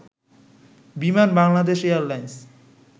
Biman Bangladesh airlines